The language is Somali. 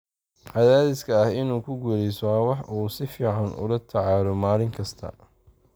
Cadaadiska ah inuu ku guuleysto waa wax uu si fiican ula tacaalo maalin kasta.